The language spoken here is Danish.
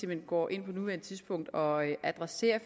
hen går ind på nuværende tidspunkt og adresserer